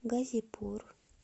газипур